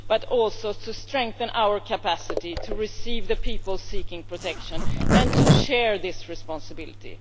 But also we also have to strengthen our capacity to receive the people seeking protection and to share this responsibility.